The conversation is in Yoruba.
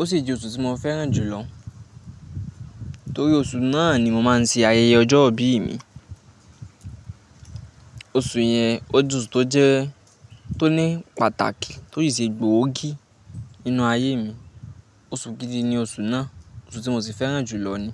ó sì jẹ́ oṣù tí mo fẹ́ràn jù lọ, torí oṣù náà ni mo máa ń ṣe ayẹyẹ ọjọ́ ìbí mi. Oṣù yẹn, o je osù tó jẹ́ tó ní pàtàkì, tó sì ṣe gbòógì nínú ayé mi. Oṣù gidi ni oṣù náà, oṣù tí mo sì fẹ́ràn jù lọ ni.